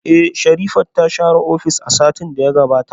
Eh, Sherifat ta share ofis a satin da ya gabata